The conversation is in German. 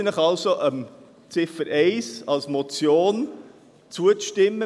Ich bitte Sie also, Ziffer 1 als Motion zuzustimmen.